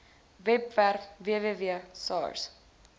webwerf www sars